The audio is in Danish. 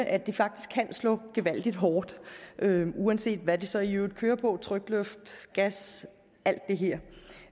at de faktisk kan slå gevaldig hårdt uanset hvad de så i øvrigt kører på er trykluft gas